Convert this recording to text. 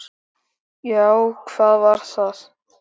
Já, var það?